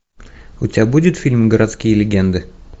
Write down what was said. у тебя будет фильм городские легенды